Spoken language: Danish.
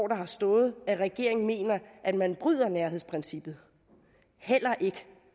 der har stået at regeringen mener at man bryder nærhedsprincippet heller ikke